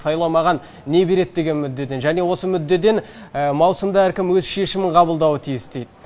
сайлау маған не береді деген мүддеден және осы мүддеден маусымда әркім өзі шешім қабылдауы тиіс дейді